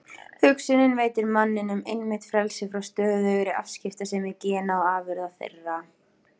Hugsunin veitir manninum einmitt frelsi frá stöðugri afskiptasemi gena og afurða þeirra.